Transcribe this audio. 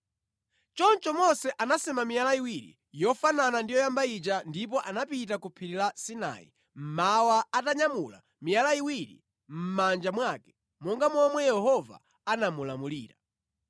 Choncho Mose anasema miyala iwiri yofanana ndi yoyamba ija ndipo anapita ku Phiri la Sinai mmawa atanyamula miyala iwiri mʼmanja mwake monga momwe Yehova anamulamulira.